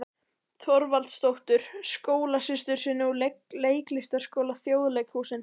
Þorvaldsdóttur, skólasystur sinni úr Leiklistarskóla Þjóðleikhússins.